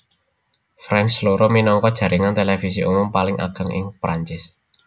France loro minangka jaringan televisi umum paling ageng ing Perancis